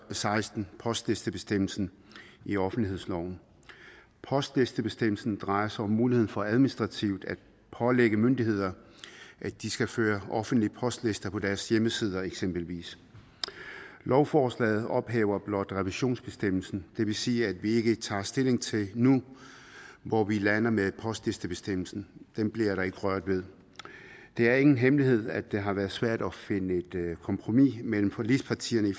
seksten postlistebestemmelsen i offentlighedsloven postlistebestemmelsen drejer sig om muligheden for administrativt at pålægge myndigheder at de skal føre offentlige postlister på deres hjemmesider eksempelvis lovforslaget ophæver blot revisionsbestemmelsen det vil sige at vi ikke tager stilling til nu hvor vi lander med postlistebestemmelsen den bliver der ikke rørt ved det er ingen hemmelighed at det har været svært at finde et kompromis mellem forligspartierne